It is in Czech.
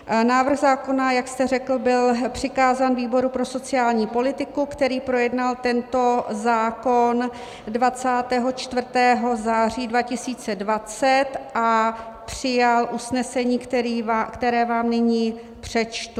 Návrh zákona, jak jste řekl, byl přikázán výboru pro sociální politiku, který projednal tento zákon 24. září 2020 a přijal usnesení, které vám nyní přečtu.